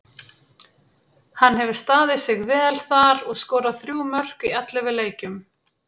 Hann hefur staðið sig vel þar og skorað þrjú mörk í ellefu leikjum.